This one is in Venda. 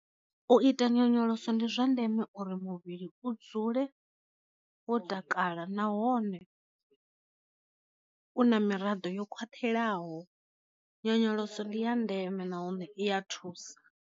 U ita nyonyoloso ndi zwa ndeme uri muvhili u dzule wo takala nahone u na miraḓo yo khwathelaho, nyonyoloso ndi ya ndeme nahone iya thusa.